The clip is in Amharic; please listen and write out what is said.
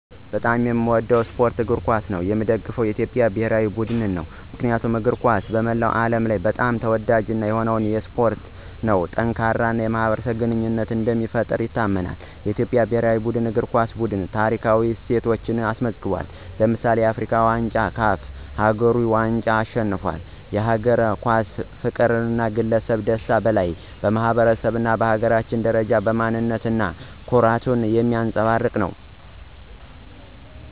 በጣም የሚወደው የስፖርት አይነት እግር ኳስ ነው። የሚደገፈው ቡድን የኢትዮጵያ ብሔራዊ እግር ኳስ ቡድን ነው። ምክንያቱም እግር ኳስ በመላው ዓለም በጣም ተወዳጅ የሆነ ስፖርት ነው። ጠንካራ የማኅበረሰብ ግንኙነትን እንደሚፈጥር ይታመናል። የኢትዮጵያ ብሔራዊ እግር ኳስ ቡድን ታሪካዊ ስኬቶችን አስመዝግቧል። ለምሳሌ፣ የአፍሪካ ዋንጫን እና CAF አህጉራዊ ዋንጫን አሸንፏል። የእግር ኳስ ፍቅር ከግለሰብ ደስታ በላይ በማኅበረሰብ እና በሀገር ደረጃ ማንነት እና ኩራትን የሚያንፀባርቅ ነው።